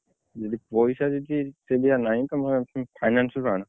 ଯଦି ପଇସା ଯଦି ସେଇ ଭଳିଆ ନାହିଁ ତମେ finance ରୁ ଆଣ।